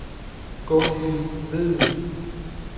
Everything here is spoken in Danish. Gunhild Vedel